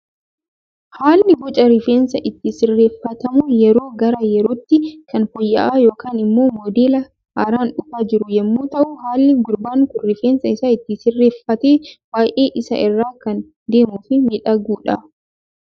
Haalli boca rifeensaa itti sirreeffatamu yeroo gara yerootti kan fooyya'aa yookaan immoo modeela haaraan dhufaa jiru yemmuu ta'u, haalli gurbaan Kun rifeensa isaa itti sirreeffate baayyee isa irraa kan deemuu fi miidhaguudha.